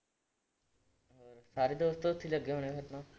ਸਾਰੇ ਦੋਸਤ ਉੱਥੇ ਹੀ ਲੱਗੇ ਹੋਣੇ ਆ ਫਿਰ ਤਾਂ।